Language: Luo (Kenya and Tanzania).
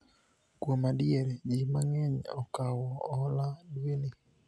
kuom adier, jii mang'eny okawo hola dwe ni